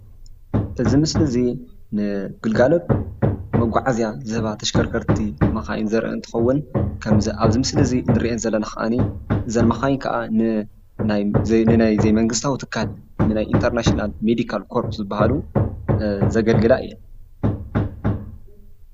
እዚ ምስሊ እዚ ንግልጋሎት መጎዓዝያ ዝህባ ተሽከርከርቲ መካይኒ ዘርኢ እንትከውን ከመዚ አብዚ ምስሊ እነሪኤን ዘለና ከአኒ እዘን መኻይኑ ከአ ንናይዘይመንግስታዊ ትካል ናይ ንኢንትርናሽናል ሜዲካል ኮርች ዝበሃሉ ዘገልግላ እየን፡፡